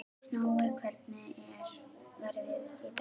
Nóa, hvernig er veðrið í dag?